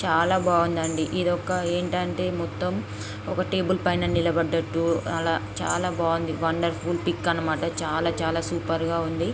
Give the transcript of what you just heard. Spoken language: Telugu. చాలా బాగుందండి ఇదొక ఏంటంటే మొత్తం ఒక టేబుల్ పైన నిలబడట్టు అలా చాలా బాగుంది వండర్ఫుల్ పిక్ అన్నమాట చాలా చాలా సూపర్ గా ఉంది.